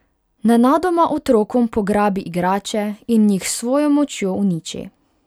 Nenadoma otrokom pograbi igrače in jih s svojo močjo uniči.